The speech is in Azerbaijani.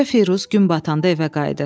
Qoca Firuz gün batanda evə qayıdır.